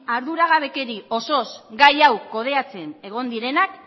arduragabekeri osoz gai hau kudeatzen egon direnak